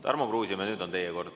Tarmo Kruusimäe, nüüd on teie kord.